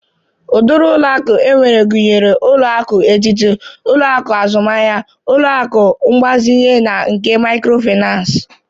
Ụdịrị ụlọ akụ enwere gụnyere ụlọ akụ etiti, ụlọ akụ azụmahia, ụlọ akụ mgbazinye na nke mikrofinans.